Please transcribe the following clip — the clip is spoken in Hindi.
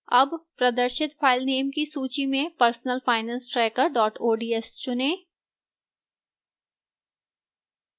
अब प्रदर्शित फाइलनाम की सूची में personalfinancetracker ods चुनें